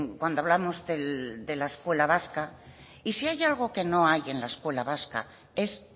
cuando hablamos de la escuela vasca y si hay algo que no hay en la escuela vasca es